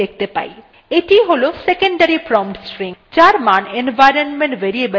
এটিby হল secondary prompt string যার মান environment variable ps2ত়ে থাকে